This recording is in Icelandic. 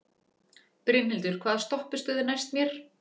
Brynhildur, hvaða stoppistöð er næst mér?